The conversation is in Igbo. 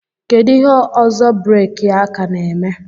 Kedu ihe ọzọ breeki aka na-eme